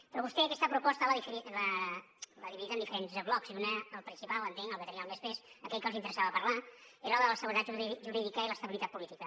però vostè aquesta proposta l’ha dividit en diferents blocs i el principal entenc el que tenia més pes aquell que els interessava parlar era el de la seguretat jurídica i l’estabilitat política